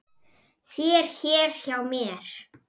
þér hér hjá mér